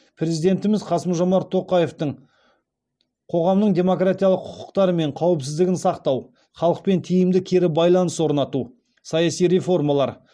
президентіміз қасым жомарт тоқаевтың қоғамның демократиялық құқықтары мен қауіпсіздігін сақтау халықпен тиімді кері байланыс орнату саяси реформалар